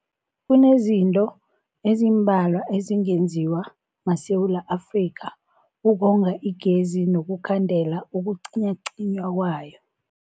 Kunezinto ezimbalwa ezingenziwa maSewula Afrika ukonga igezi nokukhandela ukucinywacinywa kwayo.